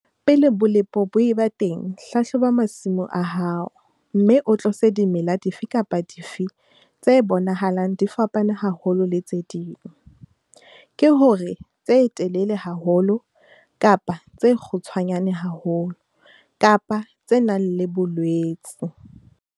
Pele bolepo bo eba teng, hlahloba masimo a hao, mme o tlose dimela dife kapa dife tse bonahalang di fapane haholo le tse ding, ke hore, tse telele haholo kapa tse kgutshwanyane haholo kapa tse nang le bolwetse.